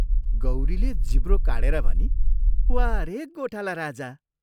" गौरीले जिब्रो काढेर भनी, "वाह रे गोठाला राजा!